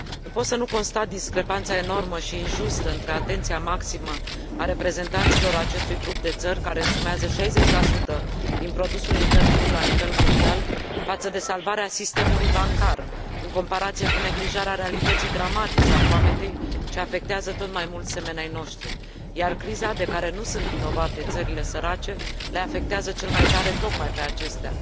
Nu pot să nu constat discrepanța enormă și injustă între atenția maximă a reprezentanților acestui grup de țări care însumează 60 din produsul intern brut la nivel mondial față de salvarea sistemului bancar, în comparație cu neglijarea realității dramatice a foametei ce afectează tot mai mulți semeni ai noștri, iar criza de care nu sunt vinovate țările sărace, le afectează cel mai tare tocmai pe acestea.